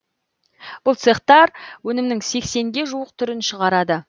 бұл цехтар өнімнің сексенге жуық түрін шығарады